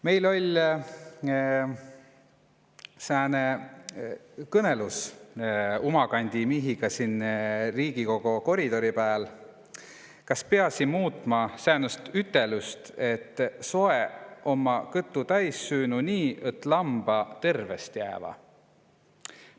Meil oll umakandi miihiga Riigikogo koridorin sääne kõnõlus, õt kas piasi muutma säänest ütelust, õt soe' omma süünu' nii, õt lamba omma terve'?